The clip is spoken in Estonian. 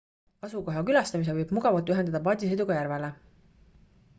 asukoha külastamise võib mugavalt ühendada paadisõiduga järvele